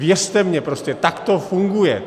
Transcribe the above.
Věřte mi, prostě tak to funguje.